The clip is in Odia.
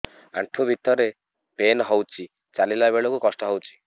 ଆଣ୍ଠୁ ଭିତରେ ପେନ୍ ହଉଚି ଚାଲିଲା ବେଳକୁ କଷ୍ଟ ହଉଚି